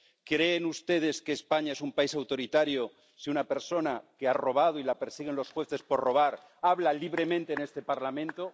¿Creen ustedes que España es un país autoritario si una persona que ha robado ⸻y la persiguen los jueces por robar⸻ habla libremente en este Parlamento?